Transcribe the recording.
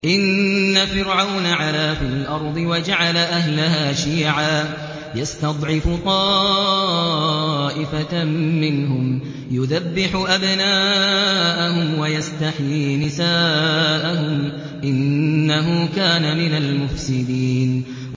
إِنَّ فِرْعَوْنَ عَلَا فِي الْأَرْضِ وَجَعَلَ أَهْلَهَا شِيَعًا يَسْتَضْعِفُ طَائِفَةً مِّنْهُمْ يُذَبِّحُ أَبْنَاءَهُمْ وَيَسْتَحْيِي نِسَاءَهُمْ ۚ إِنَّهُ كَانَ مِنَ الْمُفْسِدِينَ